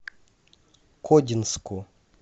кодинску